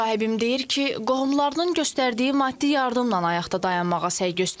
Müsahibim deyir ki, qohumlarının göstərdiyi maddi yardımla ayaqda dayanmağa səy göstərir.